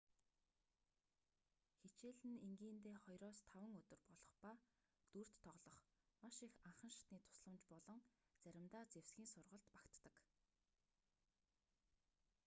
хичээл нь энгийндээ 2-5 өдөр болох ба дүрд тоглох маш их анхан шатны тусламж болон заримдаа зэвсгийн сургалт багтдаг